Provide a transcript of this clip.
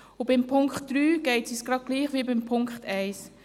Beim Punkt 3 geht es uns gleich wie beim Punkt 1: